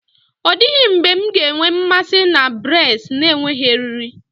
Ọ dịghị mgbe m ga-enwe mmasị na braids na-enweghị eriri.